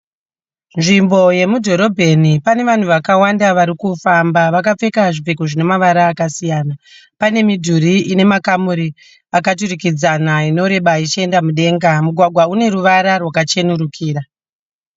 Nzvimbo yemudhorobheni. Pane vanhu vakawanda varikufamba. Vakapfeka zvipfeko zvina mavara akasiyana. Pane midhuri ine makamuri akaturikidzana inoreba ichienda mudenga. Mugwagwa une ruvara rwakachenerukira